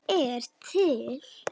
Ég er til